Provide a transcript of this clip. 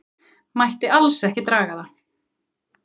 Mætti alls ekki draga það.